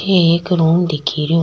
इथे एक रूम दिखे रो।